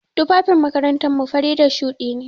Tufafin makarantar mu fari da shuɗi ne.